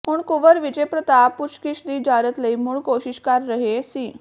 ਹੁਣ ਕੁੰਵਰ ਵਿਜੈ ਪ੍ਰਤਾਪ ਪੁੱਛਗਿੱਛ ਦੀ ਇਜਾਜ਼ਤ ਲਈ ਮੁੜ ਕੋਸ਼ਿਸ਼ ਕਰ ਰਹੇ ਸੀ